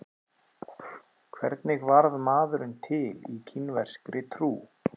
Hvernig varð maðurinn til í kínverskri trú?